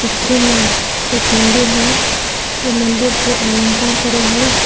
चित्र में एक मंदिर है ये मंदिर को आलंकार करे है।